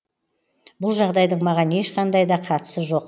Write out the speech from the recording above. бұл жағдайдың маған ешқандайда қатысы жоқ